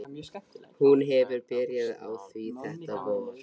Hún hefur byrjað á því þetta vor.